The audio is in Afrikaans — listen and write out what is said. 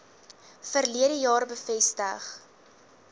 verlede jaar bevestig